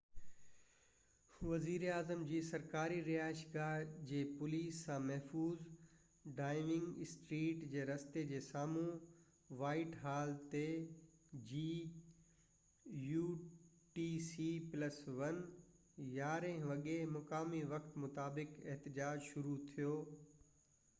وزيراعظم جي سرڪاري رهائشگاه جي پوليس سان محفوظ ڊائوننگ اسٽريٽ جي رستي جي سامهو وائيٽ هال تي 11:00 مقامي وقت utc+1 جي مطابق احتجاج شروع ٿيو